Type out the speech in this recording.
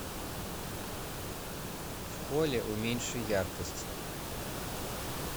в холле уменьши яркость